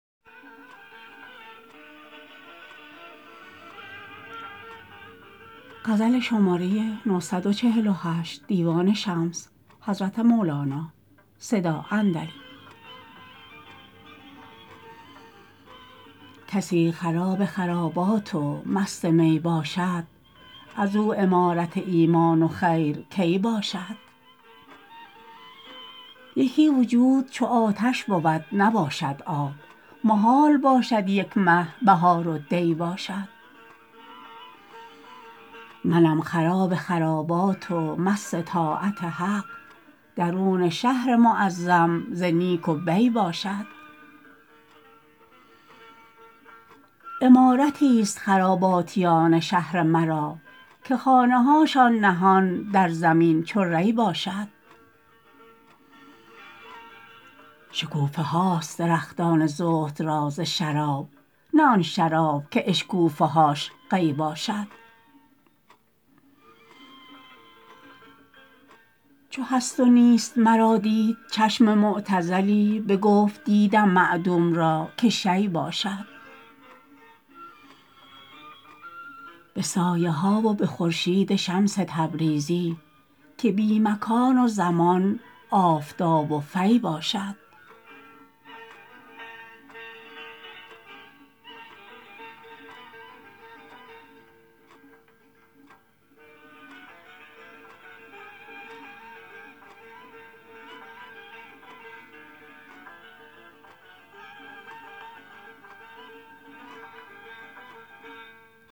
کسی خراب خرابات و مست می باشد از او عمارت ایمان و خیر کی باشد یکی وجود چو آتش بود نباشد آب محال باشد یک مه بهار و دی باشد منم خراب خرابات و مست طاعت حق درون شهر معظم ز نیک و بی باشد عمارتیست خراباتیان شهر مرا که خانه هاش نهان در زمین چو ری باشد شکوفه هاست درختان زهد را ز شراب نه آن شراب که اشکوفه هاش قی باشد چو هست و نیست مرا دید چشم معتزلی بگفت دیدم معدوم را که شیء باشد به سایه ها و به خورشید شمس تبریزی که بی مکان و زمان آفتاب و فی باشد